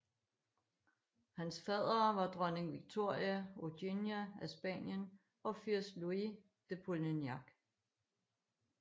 Hans faddere var Dronning Victoria Eugenia af Spanien og Fyrst Louis de Polignac